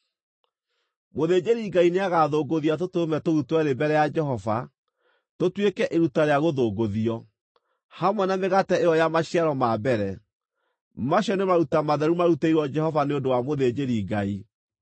Mũthĩnjĩri-Ngai nĩagathũngũthia tũtũrũme tũu tweerĩ mbere ya Jehova, tũtuĩke iruta rĩa gũthũngũthio, hamwe na mĩgate ĩyo ya maciaro ma mbere. Macio nĩ maruta matheru marutĩirwo Jehova nĩ ũndũ wa mũthĩnjĩri-Ngai.